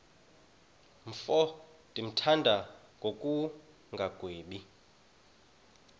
mfo ndimthanda ngokungagwebi